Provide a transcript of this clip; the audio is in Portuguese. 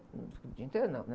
o dia inteiro não, né?